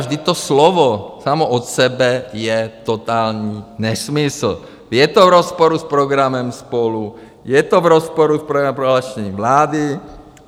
Vždyť to slovo samo od sebe je totální nesmysl, je to v rozporu s programem SPOLU, je to v rozporu s programovým prohlášením vlády.